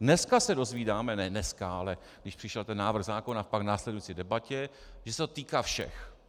Dneska se dozvídáme, ne dneska, ale když přišel ten návrh zákona, pak v následující debatě, že se to týká všech.